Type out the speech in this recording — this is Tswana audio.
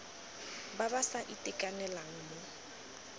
ba ba sa itekanelang mo